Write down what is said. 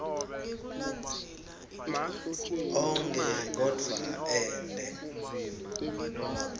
onkhe kodvwa ente